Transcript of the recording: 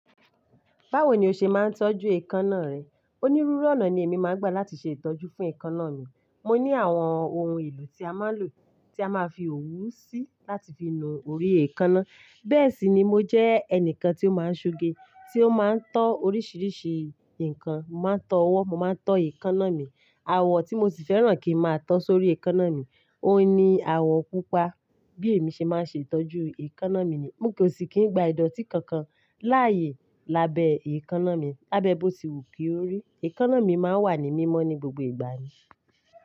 Báwo ni o ṣe máa ń tọ́jú èékánná rẹ? Onírúurú ọ̀nà ni èmi máa ń gbà láti ṣe ìtọ́jú fún èékánná mi. Mo ní àwọn ohun èlò tí a máa lò, tí a máa fi òwú sí láti fi nu orí èékánná. Bẹ́ẹ̀ sì ni mo jẹ́ ẹnìkan tí ó máa ń ṣoge, tí ó máa ń tọ́ oríṣiríṣi nǹkan. Mo máa ń tọ́ ọwọ́, mo máa ń tọ́ èékánná mi. Awọ tí mo sì fẹ́ràn kí n máa tọ́ sórí èékánná mi, òun ni awọ pupa. Bí èmi ṣe máa ṣe tọ́jú èékánná mi ni, mo kò sì kí n gbà ìdọ́tí kankan láàyè lábẹ́ èékánná mi. Lá bẹ́ bọ̀ sí wu kí ó rí, èékánná mi máa wà ní mímọ́ ní gbogbo ìgbà ni.